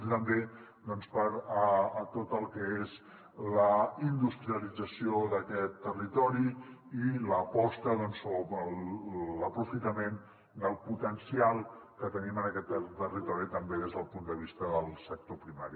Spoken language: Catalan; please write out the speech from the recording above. i també doncs per a tot el que és la industrialització d’aquest territori i l’aposta o l’aprofitament del potencial que tenim en aquest territori també des del punt de vista del sector primari